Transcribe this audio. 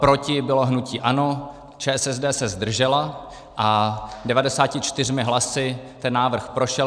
Proti bylo hnutí ANO, ČSSD se zdržela a 94 hlasy ten návrh prošel.